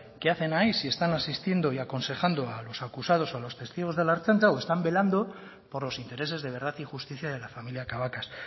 qué hacen ahí si están asistiendo y aconsejando a los acusados o a los testigos de la ertzaintza o están velando por los intereses de verdad y justicia de la familia cabacas